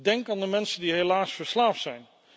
Denk aan de mensen die helaas verslaafd zijn.